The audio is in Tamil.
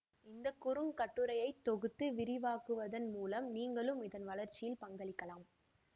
இந்த குறுங்கட்டுரையை தொகுத்து விரிவாக்குவதன் மூலம் நீங்களும் இதன் வளர்ச்சியில் பங்களிக்கலாம்